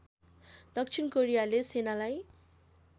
दक्षिण कोरियाले सेनालाई